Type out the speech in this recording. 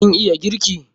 Kin iya girki?